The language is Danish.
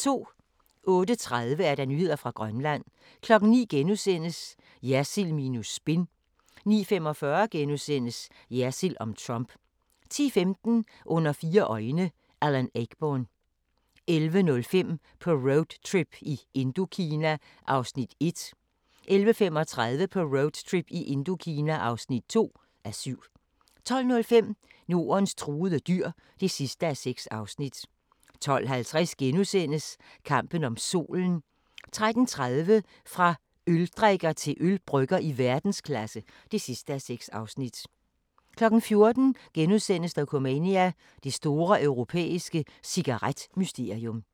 08:30: Nyheder fra Grønland 09:00: Jersild minus spin * 09:45: Jersild om Trump * 10:15: Under fire øjne – Alan Ayckbourn 11:05: På roadtrip i Indokina (1:7) 11:35: På roadtrip i Indokina (2:7) 12:05: Nordens truede dyr (6:6) 12:50: Kampen om Solen * 13:30: Fra øldrikker til ølbrygger i verdensklasse (6:6) 14:00: Dokumania: Det store europæiske cigaret-mysterium *